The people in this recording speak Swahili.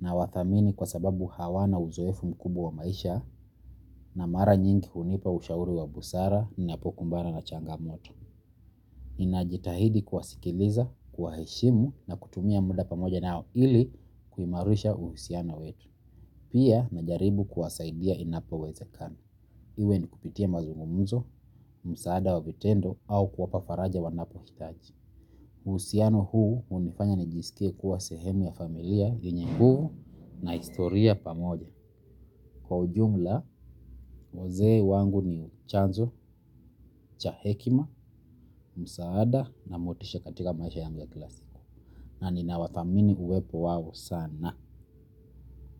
Nawathamini kwa sababu hawana uzoefu mkubwa wa maisha na mara nyingi hunipa ushauri wa busara ninapokumbana na changamoto. Ninajitahidi kuwasikiliza, kuwaheshimu na kutumia muda pamoja nao ili kuimarisha uhusiano wetu. Pia najaribu kuwasaidia inapowezekana. Iwe ni kupitia mazungumzo, msaada wa vitendo au kuwapa faraja wanapohitaji. Uhusiano huu hunifanya nijisikie kuwa sehemu ya familia yenye nguvu na historia pamoja. Kwa ujumla, wazee wangu ni chanzo cha hekima, msaada na motisha katika maisha yangu ya kila siku. Na ninawathamini uwepo wao sana.